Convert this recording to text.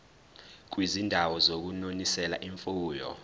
kwizindawo zokunonisela imfuyo